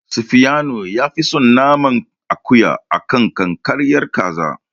Safiyanu yafi son naman akuya a kan ƙanƙararriyar kaza.